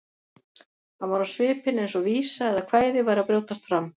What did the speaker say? Hann var á svipinn eins og vísa eða kvæði væri að brjótast fram.